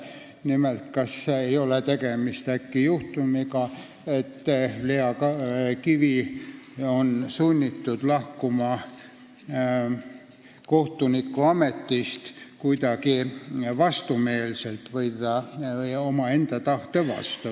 Nimelt, mind huvitas, ega ei ole tegemist juhtumiga, et Lea Kivi on sunnitud kohtunikuametist lahkuma kuidagi vastumeelselt või omaenda tahte vastu.